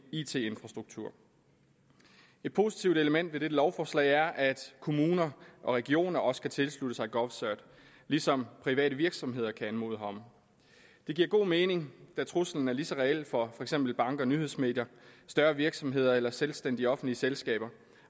it infrastruktur et positivt element ved dette lovforslag er at kommuner og regioner også kan tilslutte sig govcert ligesom private virksomheder kan anmode herom det giver god mening da truslen er lige så reel for for eksempel banker nyhedsmedier større virksomheder eller selvstændige offentlige selskaber